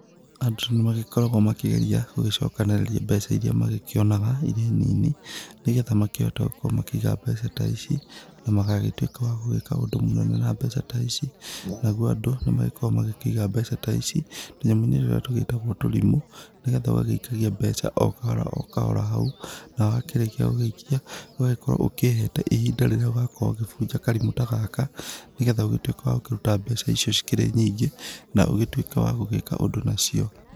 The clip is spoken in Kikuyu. Andũ nĩ magĩkoragwo makĩgeria gũgĩcokanrĩria mbeca iria magĩkĩonaga irĩ nini, nĩgetha makĩhote gũkorwo makĩiga mbeca ta ici na magagĩtuĩka wa gũgĩka ũndũ mũnene na mbeca ta ici, naguo andũ nĩ magĩkoragwo magĩkĩiga mbeca ta ici tũnyamũ-inĩ tũrĩa tũgĩtagwo tũrimũ, nĩgetha ũgagĩikagia mbeca o kahora o kahora hau, na wakĩrĩkia gũgĩikia, ũgagĩkorwo ũkĩhete ihinda rĩrĩa ũgakorwo ũgĩbunja karimũ ta gaka, nĩgetha ũgĩtuĩke wa gũkĩruta mbeca icio cikĩrĩ nyingĩ, na ũgĩtuĩke wa gũgĩka ũndũ nacio.